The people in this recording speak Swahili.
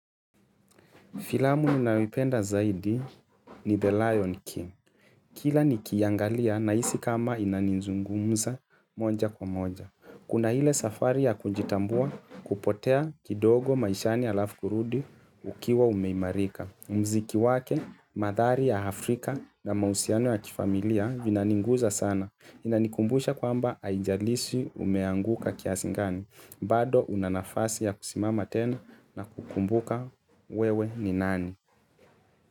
Filamu ninayoipenda zaidi ni The Lion King. Kila nikiangalia nahisi kama inanizungumza moja kwa moja. Kuna ile safari ya kunjitambua kupotea kidogo maishani alafu kurudi ukiwa umeimarika. Mziki wake, mandhari ya Afrika na mahusiano ya kifamilia vina nigusa sana. Inanikumbusha kwamba haijalishi umeanguka kiasi gani. Bado unanafasi ya kusimama tena na kukumbuka wewe ni nani.